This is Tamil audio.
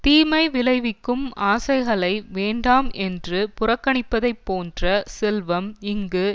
தீமை விளைவிக்கும் ஆசைகளை வேண்டாம் என்று புறக்கணிப்பதைப் போன்ற செல்வம் இங்கு